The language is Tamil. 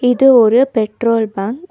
இது ஒரு பெட்ரோல் பங்க் .